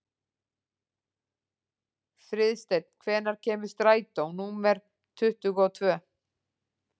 Friðsteinn, hvenær kemur strætó númer tuttugu og tvö?